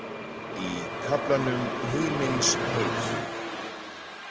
"Í kaflanum ""Himins heiti."